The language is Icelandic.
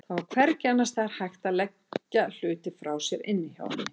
Það var hvergi annars staðar hægt að leggja hluti frá sér inni hjá henni.